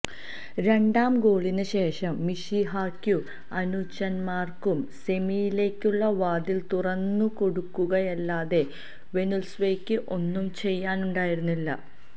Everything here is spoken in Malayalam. രണ്ടാം ഗോളിന് ശേഷം മിശിഹാക്കും അനുചരന്മാര്ക്കും സെമിയിലേക്കുള്ള വാതില് തുറന്നുകൊടുക്കുകയല്ലാതെ വെനുസ്വേലക്ക് ഒന്നും ചെയ്യാനുണ്ടായിരുന്നില്ല